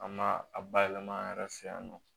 An ma a bayɛlɛma an yɛrɛ fɛ yan nɔ